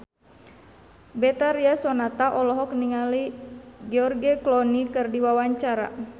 Betharia Sonata olohok ningali George Clooney keur diwawancara